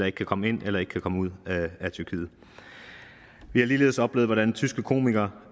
ikke kan komme ind eller ikke kan komme ud af tyrkiet vi har ligeledes oplevet hvordan tyske komikere